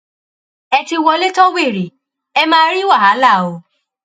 ẹ ti wọlé tọ wẹrẹ ẹ máa rí wàhálà o